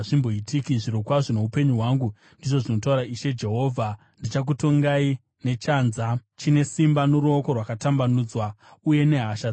Zvirokwazvo noupenyu hwangu, ndizvo zvinotaura Ishe Jehovha, ndichakutongai nechanza chine simba, noruoko rwakatambanudzwa uye nehasha dzakadururwa.